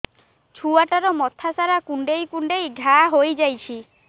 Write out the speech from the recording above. ଛୁଆଟାର ମଥା ସାରା କୁଂଡେଇ କୁଂଡେଇ ଘାଆ ହୋଇ ଯାଇଛି